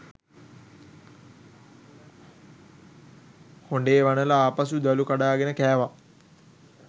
හොඬේ වනලා ආපසු දළු කඩාගෙන කෑවා.